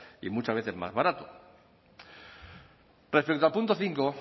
y muchas veces más barato respecto al punto cinco